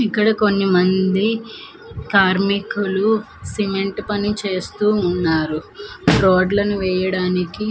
ఇక్కడ కొన్ని మంది కార్మికులు సిమెంటు పని చేస్తూ ఉన్నారు రోడ్లను వేయడానికి--